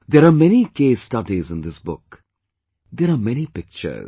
There are many case studies in this book, there are many pictures